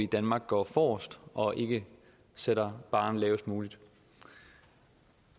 danmark går forrest og ikke sætter barren lavest muligt